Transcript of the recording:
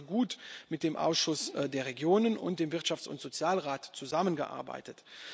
Wir haben sehr gut mit dem Ausschuss der Regionen und dem Wirtschafts und Sozialausschuss zusammengearbeitet.